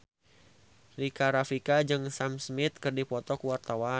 Rika Rafika jeung Sam Smith keur dipoto ku wartawan